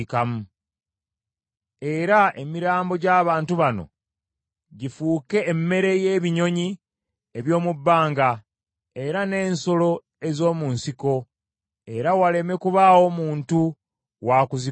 Era emirambo gy’abantu bano gifuuke emmere y’ebinyonyi eby’omu bbanga era n’ensolo ez’omu nsiko, era waleme kubaawo muntu wakuzigoba;